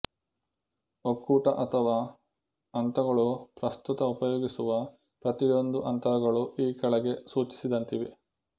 ಒಕ್ಕೂಟ ಅಥವಾ ಹಂತಗಳು ಪ್ರಸ್ತುತ ಉಪಯೋಗಿಸುವ ಪ್ರತಿಯೊಂದು ಅಂತರಗಳು ಈ ಕೆಳಗೆ ಸೂಚಿಸಿದಂತಿವೆ